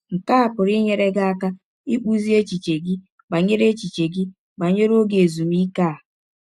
Nke a pụrụ inyere gị aka ịkpụzi echiche gị banyere echiche gị banyere ọge ezụmịke a.